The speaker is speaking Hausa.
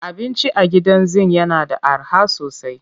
Abinci a Gidan Zinc yana da arha sosai